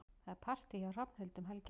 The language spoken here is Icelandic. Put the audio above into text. Það er partí hjá Hrafnhildi um helgina.